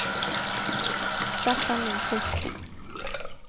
Staffan Lindqvist